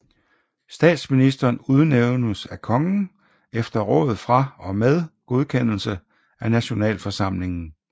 Statsministeren udnævnes af kongen efter råd fra og med godkendelse af nationalforsamlingen